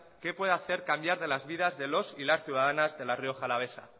qué puede hacer cambiar de las vidas de los y las ciudadanas de la rioja alavesa